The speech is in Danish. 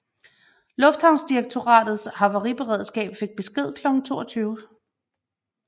Luftfartsdirektoratets havariberedskab fik besked klokken 22